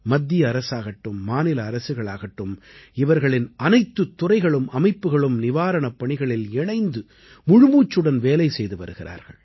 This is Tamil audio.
மத்திய அரசாகட்டும் மாநில அரசுகளாகட்டும் இவர்களின் அனைத்துத் துறைகளும் அமைப்புக்களும் நிவாரணப் பணிகளில் இணைந்து முழுமூச்சுடன் வேலை செய்து வருகிறார்கள்